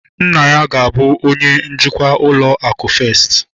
Nna ya ga-abu onye njikwa ụlọ akụ festi